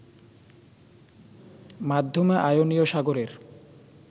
মাধ্যমে আয়োনীয় সাগরের